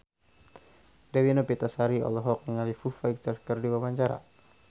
Dewi Novitasari olohok ningali Foo Fighter keur diwawancara